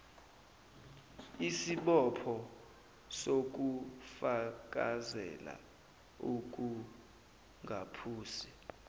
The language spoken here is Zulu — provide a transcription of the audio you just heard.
isibopho sokufakazela ukungaphusi